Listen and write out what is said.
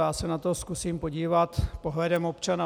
Já se na to zkusím podívat pohledem občana.